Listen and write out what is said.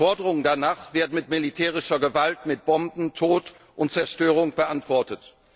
Forderungen danach werden mit militärischer Gewalt, mit Bomben, Tod und Zerstörung beantwortet.